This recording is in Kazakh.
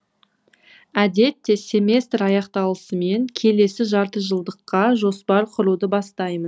әдетте семестр аяқталысымен келесі жартыжылдыққа жоспар құруды бастаймын